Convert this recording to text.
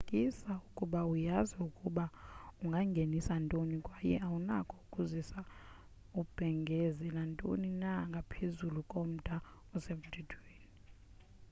qinisekisa ukuba uyazi ukuba ungangenisa ntoni kwaye awunako ukuzisa ubhengeze nantoni na ngaphezulu komda osemthethweni